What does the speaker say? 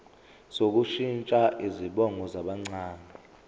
sokushintsha izibongo zabancane